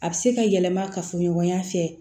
A bɛ se ka yɛlɛma kafoɲɔgɔnya fɛ